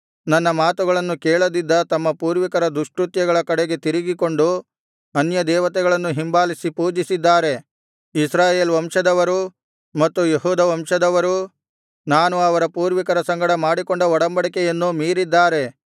ನನ್ನ ಮಾತುಗಳನ್ನು ಕೇಳದಿದ್ದ ತಮ್ಮ ಪೂರ್ವಿಕರ ದುಷ್ಕೃತ್ಯಗಳ ಕಡೆಗೆ ತಿರುಗಿಕೊಂಡು ಅನ್ಯದೇವತೆಗಳನ್ನು ಹಿಂಬಾಲಿಸಿ ಪೂಜಿಸಿದ್ದಾರೆ ಇಸ್ರಾಯೇಲ್ ವಂಶದವರೂ ಮತ್ತು ಯೆಹೂದ ವಂಶದವರೂ ನಾನು ಅವರ ಪೂರ್ವಿಕರ ಸಂಗಡ ಮಾಡಿಕೊಂಡ ಒಡಂಬಡಿಕೆಯನ್ನು ಮೀರಿದ್ದಾರೆ